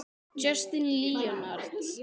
Justin Leonard